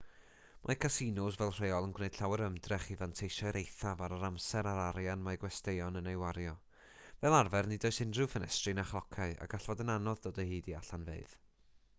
mae casinos fel rheol yn gwneud llawer o ymdrech i fanteisio i'r eithaf ar yr amser a'r arian mae gwesteion yn ei wario fel arfer nid oes unrhyw ffenestri na chlociau a gall fod yn anodd dod o hyd i allanfeydd